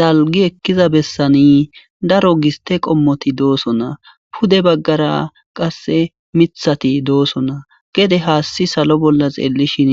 Dalgi ekkiza bessani daro giste qommoti dooso na pude baggara qasse mithati dooso na gede haasti salo bolla xeellishin